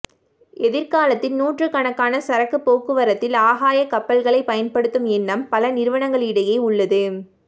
எதிர்காலத்தில் நூற்றுக்கணக்கான சரக்கு போக்குவரத்தில் ஆகாய கப்பல்களை பயன்படுத்தும் எண்ணம் பல நிறுவனங்களிடையே உள்ளது